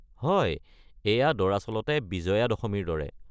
হয়, এইয়া দৰাচলতে বিজয়া দশমীৰ দৰে।